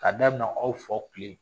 K'a daminɛ aw faw tile